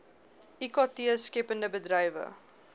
ikt skeppende bedrywe